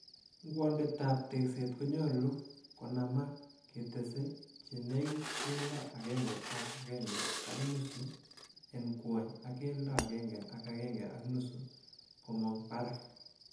Ngwondetab tekset konyolu konamaak, ketese chenekit keldo agenge ak agenge ak nusu en gwony ak keldo agenge ak agenge ak nusu komong barak.